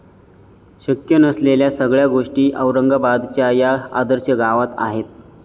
शक्य नसलेल्या सगळ्या गोष्टी औरंगाबादच्या या 'आदर्श' गावात आहेत!